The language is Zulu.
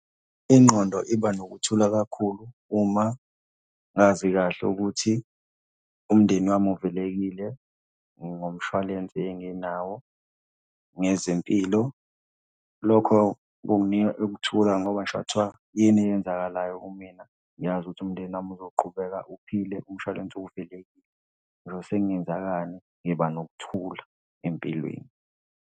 Ingqondo iba nokuthula kakhulu uma ngazi kahle ukuthi umndeni wami uvikelekile ngomshwalense enginawo ngezempilo. Lokho kunginika ukuthula ngoba ngisho kungathiwa yini eyenzakalayo kumina ngiyazi ukuthi umndeni wami uzoqhubeka uphile umshwalense . Ngisho sekungenzekani, ngiba nokuthula empilweni.